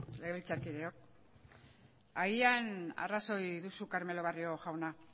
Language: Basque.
legebiltzarkideok agian arrazoi duzu carmelo barrio jauna